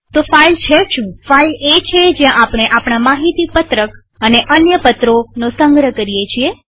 તો ફાઈલ છે શુંફાઈલ એ છે જ્યાં આપણે આપણા માહિતી પત્રકડોક્યુમેન્ટ્સ અને અન્ય પત્રોપેપર્સનો સંગ્રહ કરીએ છીએ